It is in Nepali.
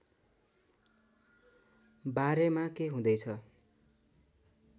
बारेमा के हुँदै छ